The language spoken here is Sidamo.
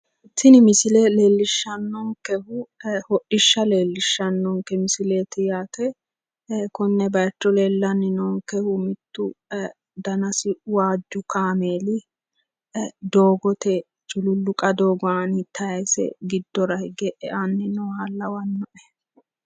Tini misile leellishshannonkehu hodhishsha leellishshannonke misileeti yaate. konne bayicho leellanni noonkehu mittu danasi waajju kameeli doogote cululluqa doogo aani tayise giddora hige eanni nooha lawannoe.